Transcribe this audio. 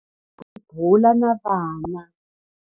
Hi vone jaha ri bula na vana.